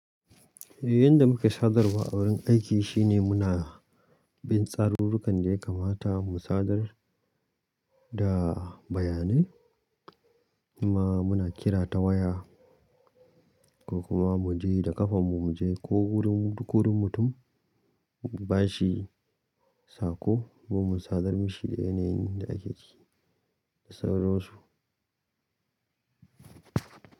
Eh, yadda muka sadar wa a wurin aiki shine muna bin tsarurrukan da ya kamata mu sadar da bayanai, kuma muna kira ta waya ko kuma mu je da ƙafanmu mu je ko wurin duk wurin mutum bashi sako ko mu sadar mishi da yanayin da ake ciki da sauransu.